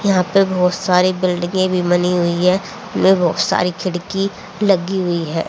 यहां पे बहोत सारी बिल्डिंगें भी बनी हुई है उनमें बहुत सारी खिड़की लगी हुई है।